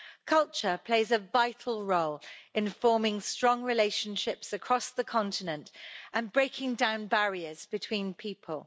Culture plays a vital role in forming strong relationships across the continent and breaking down barriers between people.